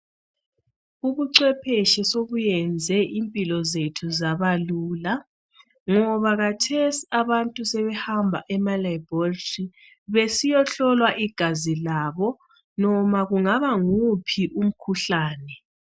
Ubucwephetshi sobuyenze impilo zethu zaba lula ngoba kathesi abantu sebehamba ema laboratory besiyohlolwa igazi labo noma kungaba nguwuphi umkhuhlani.